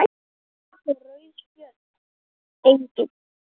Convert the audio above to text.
Rauð Spjöld: Engin.